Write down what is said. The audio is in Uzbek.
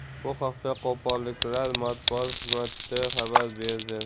Bu haqda qo‘qonliklar matbuot xizmati xabar berdi.